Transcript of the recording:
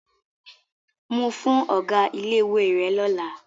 Mu fún ọ̀gá ilé-ìwé rẹ lọ́la.